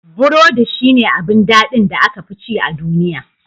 Burodi shi ne abin daɗin da aka fi ci a duniya.